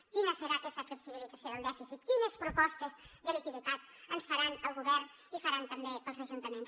quina serà aquesta flexibilització del dèficit quines propostes de liquiditat ens faran per al govern i faran també per als ajuntaments